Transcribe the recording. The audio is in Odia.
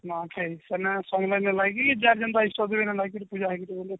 ନୂଆଖାଇ ସେମନେ ସମଲେଇ ଙ୍କ ଯାଇକି ଯାହାର ଜେନ୍ତା ଇଷ୍ଟ ପୂଜା ହେଇକିରି